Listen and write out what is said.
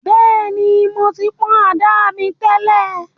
Bẹ́ẹ̀ni, mo ti pọ̀n àdá mi tẹ́lẹ̀